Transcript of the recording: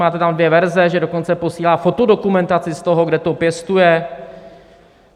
Máte tam dvě verze - že dokonce posílá fotodokumentaci z toho, kde to pěstuje.